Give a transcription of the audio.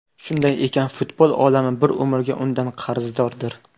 Shunday ekan, futbol olami bir umrga undan qarzdordir.